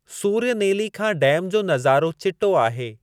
सूर्यनेली खां डैम जो नज़ारो चिटो आहे।